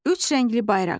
Üç rəngli bayraq.